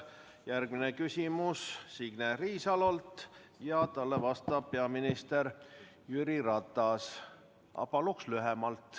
Järgmine küsimus on Signe Riisalolt ja talle vastab peaminister Jüri Ratas, aga palun lühemalt.